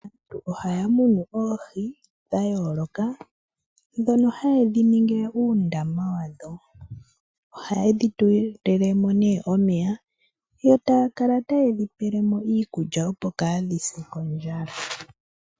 Aantu ohaya munu oohi dha yooloka ndhoka haye dhi ningile uundama wadho. Ohaye dhi tulile mo omeya yo taya kala taye dhi pele mo iikulya, opo kaadhi se kondjala.